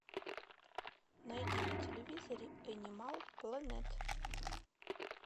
найди на телевизоре энимал плэнет